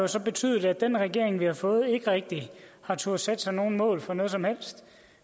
så betydet at den regering vi har fået ikke rigtig har turdet sætte sig nogen mål for noget som helst